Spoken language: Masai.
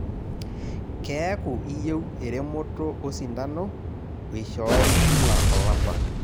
Keeku iyieu eremoto osindano oishoori kila olapa.